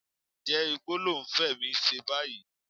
Ǹjẹ́ igbó ló ń Fẹ́mi ṣe báyìí?